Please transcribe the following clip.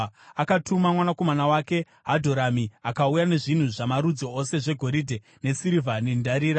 akatuma mwanakomana wake Hadhoramu akauya nezvinhu zvamarudzi ose zvegoridhe nesirivha nendarira.